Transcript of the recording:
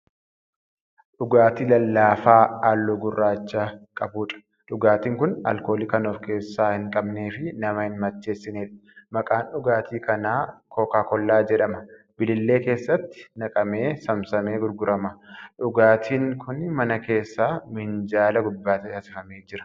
Dhugaatii lallaafaa halluu gurraacha qabuudha. dhugaatiin Kuni alkoolii Kan of keessaa hin qabneefi nama hin macheessineedha. maqaan dhugaatii kanaa koka kollaa jedhama. bilillee keessatti naqamee saamsamee gurgurama. dhugaatiin kuni mana keessa minjaala gubbaa teechifamee Jira.